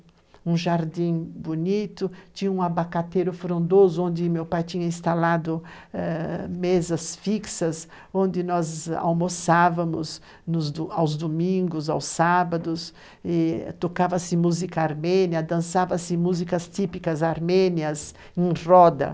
um jardim bonito, tinha um abacateiro frondoso, onde meu pai tinha instalado ãh mesas fixas, onde nós almoçávamos nos, aos domingos, aos sábados, tocava-se música armênia, dançava-se músicas típicas armênias em roda.